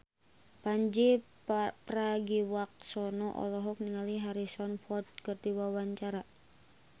Pandji Pragiwaksono olohok ningali Harrison Ford keur diwawancara